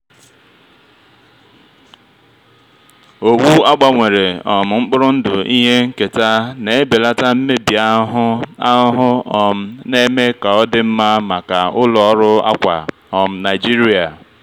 owu a gbanwere um mkpụrụ ndụ ihe nketa na-ebelata mmebi ahụhụ ahụhụ um na-eme ka ọ dị mma maka ụlọ ọrụ akwa um nigeria.